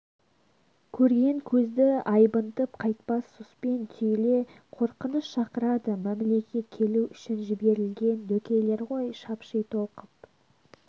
көрген көзді айбынтып қайтпас сұспен түйіле қорқыныш шақырады мәмлеге келу үшін жіберілген дөкейлер ғой шапши толқып